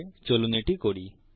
বাস্তবে চলুন এটা করি